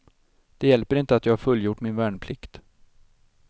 Det hjälper inte att jag har fullgjort min värnplikt.